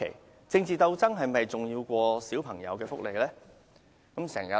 試問政治鬥爭是否較小朋友的福利重要？